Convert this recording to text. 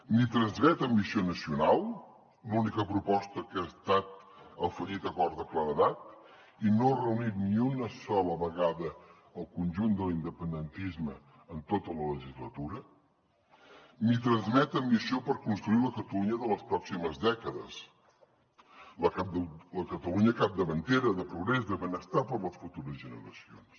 no transmet ambició nacional l’única proposta que ha estat el fallit acord de claredat i no ha reunit ni una sola vegada el conjunt de l’independentisme en tota la legislatura ni transmet ambició per construir la catalunya de les pròximes dècades la catalunya capdavantera de progrés de benestar per a les futures generacions